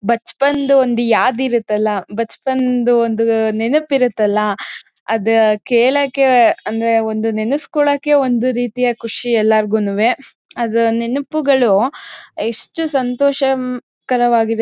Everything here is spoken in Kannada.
ಬಚ್ಪನ್ದು ಒಂದು ಯಾದ್ ಇರತ್ತಲ್ಲ ಬಚ್ಪನ್ದು ಒಂದು ನೆನಪ್ ಇರತ್ತಲ್ಲ ಅದ್ ಕೇಳೋಕೆ ಅಂದ್ರೆ ಒಂದು ನೆನೆಸ್ಕೊಳ್ಳೋಕೆ ಒಂದು ರೀತಿಯ ಖುಷಿ ಎಲ್ಲರಗೂನೂವೆ. ಅದು ನೆನಪುಗಳು ಆಹ್ಹ್ ಎಷ್ಟು ಸಂತೋಷ ಹ್ಮ್ ಕರವಾಗಿದೆ--